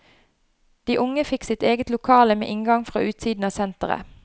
De unge fikk sitt eget lokale med inngang fra utsiden av senteret.